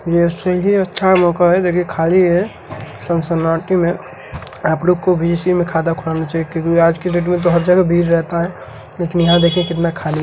जैसे की अच्छा मौका हैं देखिए खाली हैं सन सन्नाटे में आप लोग को भी इसी में खाता खुलाना चाहिए क्योंकि आज के डेट में हर जगह भीड़ रहता है लेकीन यहां देखिए कितना खाली हैं।